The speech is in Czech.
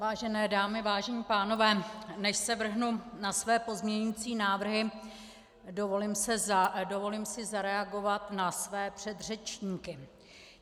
Vážené dámy, vážení pánové, než se vrhnu na své pozměňující návrhy, dovolím si zareagovat na své předřečníky.